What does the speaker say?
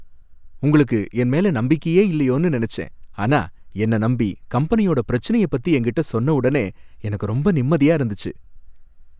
உங்களுக்கு என்மேல நம்பிக்கையே இல்லயோனு நெனச்சேன், ஆனா என்ன நம்பி கம்பெனியோட பிரச்சனைய பத்தி என்கிட்ட சொன்னவுடனே எனக்கு ரொம்ப நிம்மதியா இருந்துச்சு.